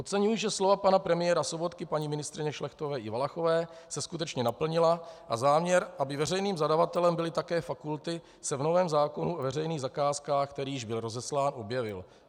Oceňuji, že slova pana premiéra Sobotky, paní ministryně Šlechtové i Valachové se skutečně naplnila a záměr, aby veřejným zadavatelem byly také fakulty, se v novém zákonu o veřejných zakázkách, který již byl rozeslán, objevil.